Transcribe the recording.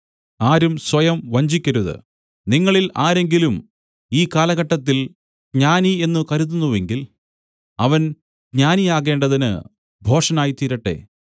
ആരും സ്വയം വഞ്ചിക്കരുത് നിങ്ങളിൽ ആരെങ്കിലും ഈ കാലഘട്ടത്തിൽ ജ്ഞാനി എന്ന് കരുതുന്നുവെങ്കിൽ അവൻ ജ്ഞാനിയാകേണ്ടതിന് ഭോഷനായിത്തീരട്ടെ